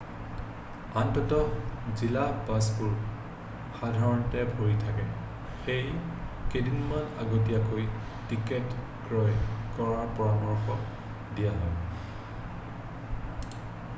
আন্তঃ-জিলা বাছবোৰ সাধাৰণতে ভৰি থাকে সেয়ে কেইদিনমান আগতীয়াকৈ টিকেট ক্ৰয় কৰাৰ পৰামৰ্শ দিয়া হয়